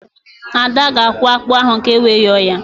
Ada ga-akwọ ákpụ́ ahụ ka ewe yọọ ya